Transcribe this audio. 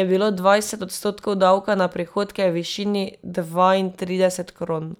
je bilo dvajset odstotkov davka na prihodke v višini dvaintrideset kron.